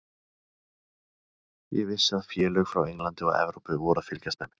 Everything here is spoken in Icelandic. Ég vissi að félög frá Englandi og Evrópu voru að fylgjast með mér.